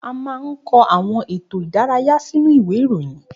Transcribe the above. A máa ń kọ àwọn ètò ìdárayá sínú ìwé ìròyìn